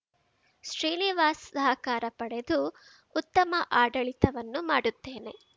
ಶ್ರೀನಿವಾಸ್ ಸಹಕಾರ ಪಡೆದು ಉತ್ತಮ ಆಡಳಿತವನ್ನು ಮಾಡುತ್ತೇನೆ